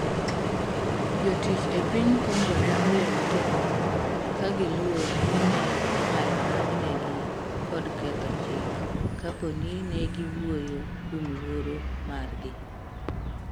Jotich e piny Kongo ne oling' thi kagiluor ni ne inyalo donjnegi kod ketho chik kaponi ne giwuyo kuom luoro margi